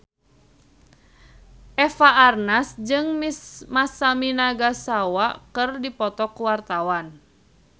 Eva Arnaz jeung Masami Nagasawa keur dipoto ku wartawan